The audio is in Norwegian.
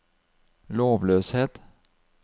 lovløshet